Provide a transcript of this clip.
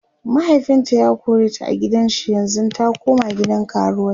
mahaifinta ya koreta a gidan shi yanzun ta koma gidan karuwai